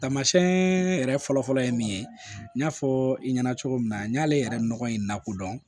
Taamasiɲɛn yɛrɛ fɔlɔ fɔlɔ ye min ye n y'a fɔ i ɲɛna cogo min na n y'ale yɛrɛ nɔgɔ in lakodɔn